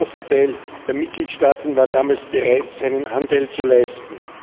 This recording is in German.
Ein großer Teil der Mitgliedstaaten war damals bereit, seinen Anteil zu leisten.